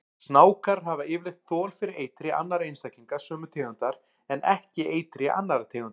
Snákar hafa yfirleitt þol fyrir eitri annarra einstaklinga sömu tegundar en ekki eitri annarra tegunda.